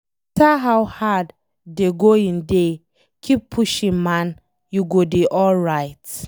No matter how hard dey going dey, keep pushing man, you go dey alright